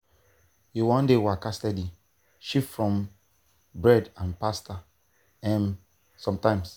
you wan dey waka steady? shift from bread and pasta um sometimes.